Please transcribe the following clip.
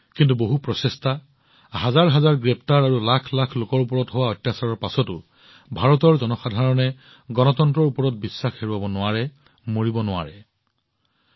কিন্তু বহু প্ৰচেষ্টা হাজাৰ হাজাৰ গ্ৰেপ্তাৰ আৰু লাখ লাখ লোকৰ ওপৰত কৰা অত্যাচাৰৰ পাছতো ভাৰতৰ জনসাধাৰণে গণতন্ত্ৰৰ ওপৰত বিশ্বাস হেৰুওৱা নাছিল সামান্যতমো হ্ৰাস হোৱা নাছিল